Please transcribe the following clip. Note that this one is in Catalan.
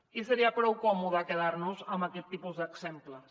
i seria prou còmode quedar nos amb aquest tipus d’exemples